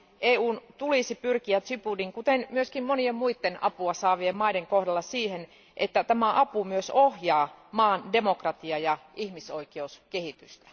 EUn tulisi pyrkiä Djiboutin kuten myöskin monien muiden apua saavien maiden kohdalla siihen, että tämä apu myös ohjaa maan demokratia ja ihmisoikeuskehitystä.